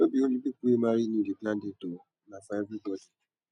no be only people wey marry new dey plan dates o na for everybodi